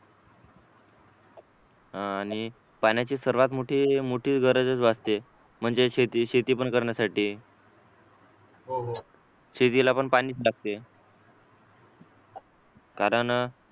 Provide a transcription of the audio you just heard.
अं आणि पाण्याची सर्वात मोठी गरजच भासते म्हणजे शेती शेती पण करण्यासाठी शेतीला पण पाणीच लागते कारण